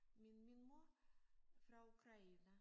Min min mor fra Ukraine